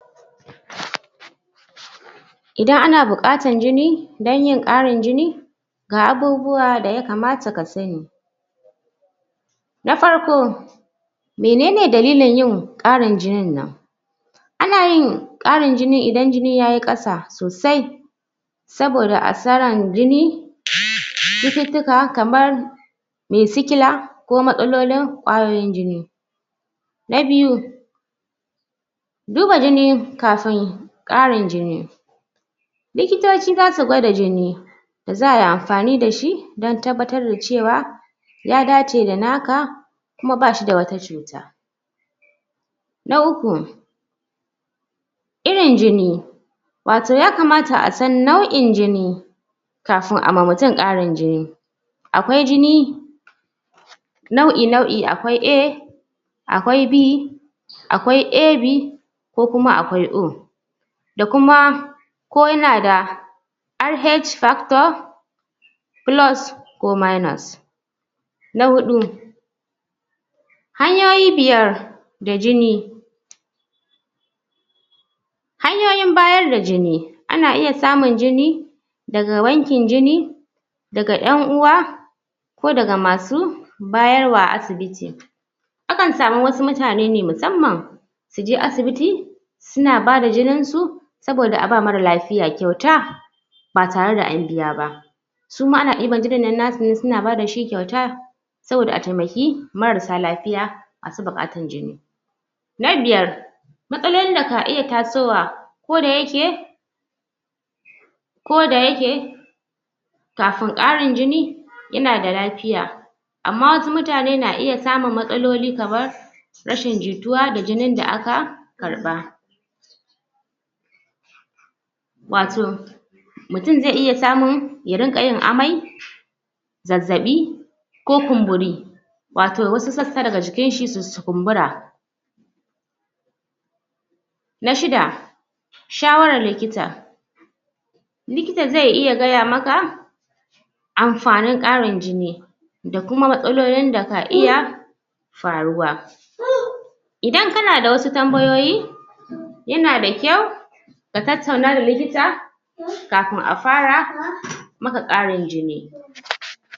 Idan ana buƙatan jini dan yin ƙarin jini Ga abubuwa da ya kamata ka sani Na farko Me ne ne dallin yin ƙarin jinin nan Ana yin ƙarin jini idan jini yayi ƙasa sosai Saboda asaran jini, chututuka kamar Mai sickler ko matsalar kwayoyin jini Na biyu Duba jini kafin ƙarin jini Likitoci zasu gwada jini Da za'a yi amfani da shi dan tabbatar da ce wa Ya dace da naka, kuma ba shi da wata chuta Na uku Irin jini. Wato ya kamata a san nau'in jini Kafin a ma mutum ƙarin jini Akwai jinI nau'i nau'i. Akwai A Akwai B. Akwai AB. Ko kuma akwai O. Da kuma ko yana da Rh factor Plus ko minus Na huɗu Hanyoyi biyar da jini Hanyoyin bayar da jini, ana iya samun jini Daga bankin jini 'Daga Yan uwa Ko daga masu bayarwa a asibiti Akan samu wasu mutane ne musamman Su je asibiti Suna bada jinin su, saboda a ba marar lafiya kyauta Ba tare da an biya ba Suma ana ɗiban jinin nan nasu ne su na ba da shi kyauta Saboda a taimaki mararsa lafiya masu buƙatan jini Na biyar Matsalolin da ka iya tasowa, kodayake Kodayake Kafin ƙarin jini...yana da lafiya Amma wasu mutane na iya samun matsaloli kamar Rashin jituwa da jinin da aka...karɓa Wato Mutum zai iya samu ya rinƙa yin amai Zazzaɓi ko kumburi Wato wasu sakka daga jikin shi su kumbura Na shida Shawaran likita Likita zai iya gaya maka Amfanin ƙarin jini Da kuma matsalolin da ka iya Faruwa Idan kana da wasu tambayoyi Yana da kyau Ka tattauna da likita Kafin a fara maka ƙarin jini